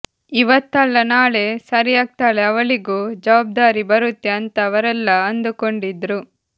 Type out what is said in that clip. ಇವತ್ತಲ್ಲ ನಾಳೆ ಸರಿಯಾಗ್ತಳೆ ಅವಳಿಗೂ ಜವಾಬ್ದಾರಿ ಬರುತ್ತೆ ಅಂತ ಅವರೆಲ್ಲಾ ಅಂದುಕೊಂಡಿದ್ರು